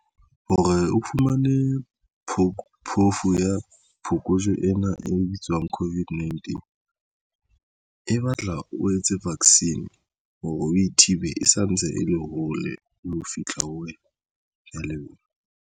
Hore o fumane phofu ya phokojwe ena e bitswang COVID-19 e batla o etse vaccine hore a thibe e santse e le hole le ho fihla ho wena. ke ya leboha.